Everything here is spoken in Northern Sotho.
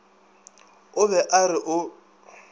o be a re o